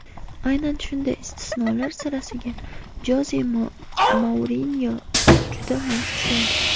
Aynan shunday istisnolar sirasiga Joze Mourinyo juda mos tushadi.